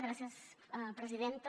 gràcies presidenta